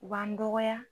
U b'an dɔgɔya